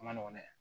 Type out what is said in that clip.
A ma nɔgɔn dɛ